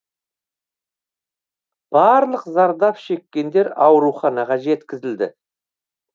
барлық зардап шеккендер ауруханаға жеткізілді